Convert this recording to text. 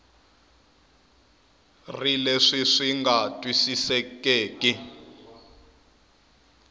ri leswi swi nga twisisekeki